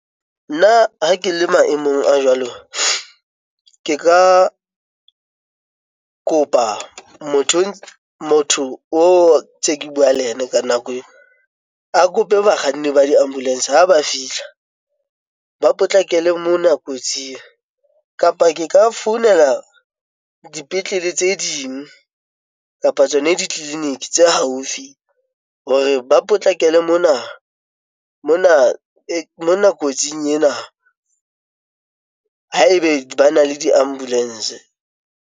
Nna ha ke le maemong a jwalo, ke ka kopa motho o tse ke bua le yena ka nako eo a kope bakganni ba di-ambulance ha ba fihla a potlakele mona kotsing, kapa ke ka founela dipetlele tse ding kapa tsona ditleliniki tse haufi hore ba potlakele mona kotsing ena haebe ba na le di-ambulance.